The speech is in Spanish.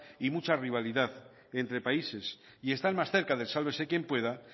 y mucha rivalidad entre países y están más cerca del sálvese quien pueda